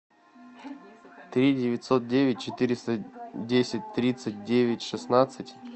три девятьсот девять четыреста десять тридцать девять шестнадцать